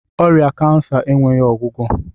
Ọrịa cancer enweghị ọgwụgwọ